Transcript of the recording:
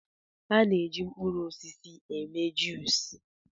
A na-eji mkpụrụ osisi eme jụis.